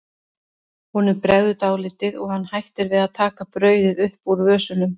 Honum bregður dálítið og hann hættir við að taka brauðið upp úr vösunum.